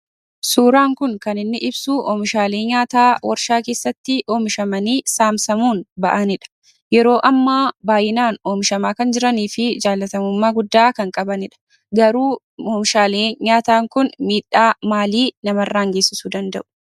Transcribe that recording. Suuraan kun kan inni ibsuu oomishaalee nyaataa warshaa keessatti oomishamanii saamsamuun ba'anidha. Yeroo ammaa baay'inaan oomishamaa kan jiranii fi jaallatamummaa guddaa kan qabanidha. Garuu oomishaalee nyaataa kun miiidhaa maalii namarraan geessisuu danda'u?